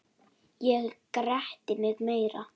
Ég gretti mig meira.